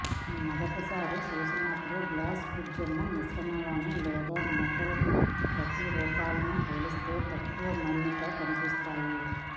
మొదటిసారి చూసినప్పుడు గ్లాస్ కుడ్యము మిశ్రమంలోని లేదా మెటల్ ప్రతిరూపాలను పోలిస్తే తక్కువ మన్నిక కనిపిస్తాయి